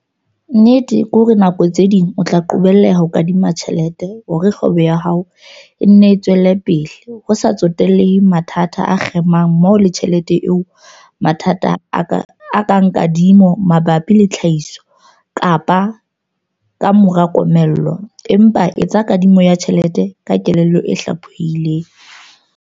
Nnete ke hore ka nako tse ding o tla qobelleha ho kadima tjhelete hore kgwebo ya hao e nne e tswele pele ho sa tsotellehe mathata a kgemang mmoho le tjhelete eo - mathata a kang kadimo mabapi le tlhahiso kapa ka mora komello, empa etsa kadimo ya tjhelete ka kelello e hlaphohileng.